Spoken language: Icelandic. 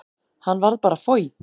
Hann varð bara foj.